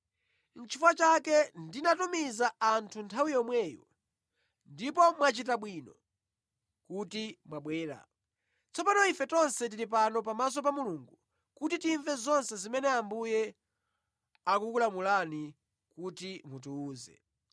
Nʼchifukwa chake ndinatumiza anthu nthawi yomweyo ndipo mwachita bwino kuti mwabwera. Tsopano ife tonse tili pano pamaso pa Mulungu kuti timve zonse zimene Ambuye akukulamulani kuti mutiwuze ife.”